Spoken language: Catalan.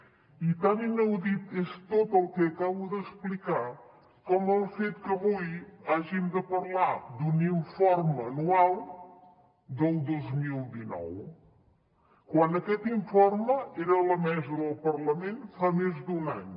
i tan inaudit és tot el que acabo d’explicar com el fet que avui hàgim de parlar d’un informe anual del dos mil dinou quan aquest informe era a la mesa del parlament fa més d’un any